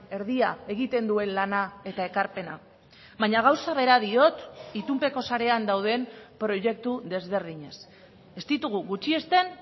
erdia egiten duen lana eta ekarpena baina gauza bera diot itunpeko sarean dauden proiektu desberdinez ez ditugu gutxiesten